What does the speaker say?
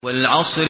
وَالْعَصْرِ